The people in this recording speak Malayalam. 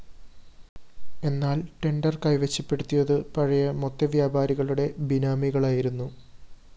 എന്നാല്‍ ടെൻഡർ കൈവശപ്പെടുത്തിയത് പഴയ മൊത്ത വ്യാപാരികളുടെ ബിനാമികളയായിരുന്നു